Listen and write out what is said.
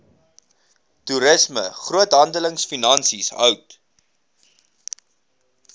toerisme groothandelfinansies hout